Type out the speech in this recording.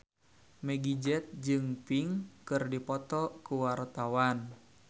Meggie Z jeung Pink keur dipoto ku wartawan